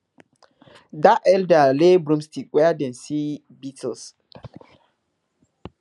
dat elder lay broomsticks where dem see beetles